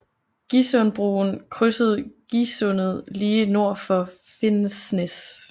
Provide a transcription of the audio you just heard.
Gisundbroen krydser Gisundet lige nord for Finnsnes